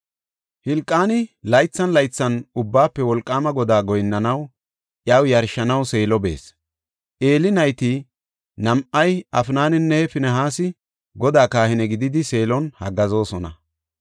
Hilqaani laythan laythan Ubbaafe Wolqaama Godaa goyinnanawunne iyaw yarshanaw Seelo bees. Eeli nayti nam7ay, Afnaninne Finihaasi Godaa kahine gididi Seelon haggaazosona.